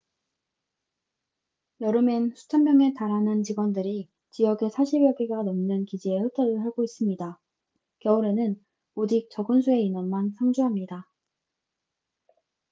여름엔 수천 명의 달하는 직원들이 지역에 사십여 개가 넘는 기지에 흩어져 살고 있습니다 겨울에는 오직 적은 수의 인원만 상주합니다